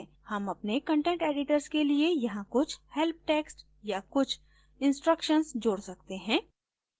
हम अपने content editors के लिए यहाँ कुछ help text या कुछ instructions जोड सकते हैं